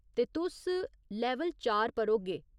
ते तुस लैवल चार पर होगे।